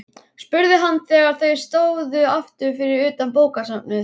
spurði hann þegar þau stóðu aftur fyrir utan bókasafnið.